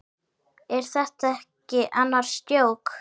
Er þetta ekki annars djók?